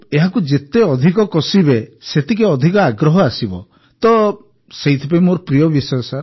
ଏହାକୁ ଯେତେ ଅଧିକ କଷିବେ ସେତିକି ଅଧିକ ଆଗ୍ରହ ଆସିବ ତ ସେଥିପାଇଁ ମୋର ପ୍ରିୟ ବିଷୟ